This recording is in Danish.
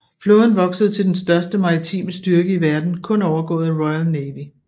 Flåden voksede til den største maritime styrke i verden kun overgået af Royal Navy